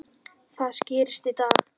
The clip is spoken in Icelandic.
Það skýrist í dag.